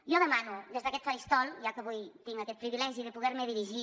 jo demano des d’aquest faristol ja que avui tinc aquest privilegi de poder me dirigir